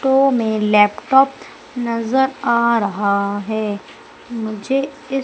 तो मैं लैपटॉप नजर आ रहा है मुझे इस--